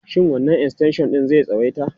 Shin wannan extension ɗin zai tsawaita?